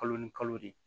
Kalo ni kalo de ye